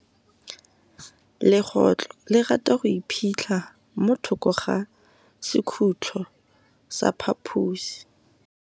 Legôtlô le rata go iphitlha mo thokô ga sekhutlo sa phaposi.